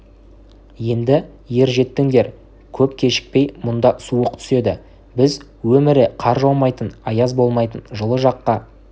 енді ер жеттіңдер көп кешікпей мұнда суық түседі біз өмірі қар жаумайтын аяз болмайтын жылы жаққа